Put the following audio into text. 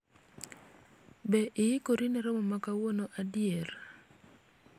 Be iikori ne romo ma kawuono adier ?